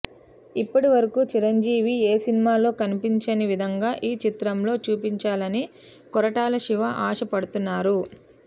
ఇప్పటివరకు చిరంజీవి ఏ సినిమాలో కనిపించని విధంగా ఈ చిత్రంలో చూపించాలని కొరటాల శివ ఆశ పడుతున్నారు